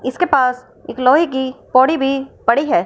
इसके पास एक लोहे की पौड़ी भी पड़ी है।